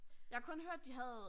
Jeg har kun hørt de havde